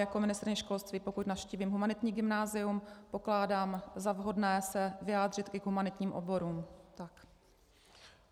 Jako ministryně školství, pokud navštívím humanitní gymnázium, pokládám za vhodné se vyjádřit i k humanitním oborům.